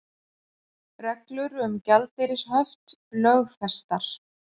Reglur um gjaldeyrishöft lögfestar